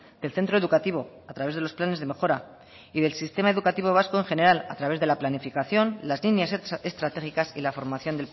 del centro educativo a través de los planes de mejora y del sistema educativo vasco en general a través de la planificación las líneas estratégicas y la formación